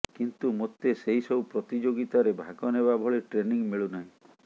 କିନ୍ତୁ ମୋତେ ସେହି ସବୁ ପ୍ରତିଯୋଗିତାରେ ଭାଗ ନେବା ଭଳି ଟ୍ରେନିଂ ମିଳୁ ନାହିଁ